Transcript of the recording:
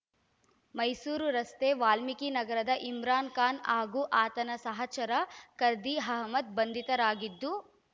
ಮೈಸೂರು ರಸ್ತೆ ವಾಲ್ಮೀಕಿ ನಗರದ ಇಮ್ರಾನ್‌ಖಾನ್‌ ಹಾಗೂ ಆತನ ಸಹಚರ ಖದೀ ಅಹಮ್ಮದ್‌ ಬಂಧಿತರಾಗಿದ್ದು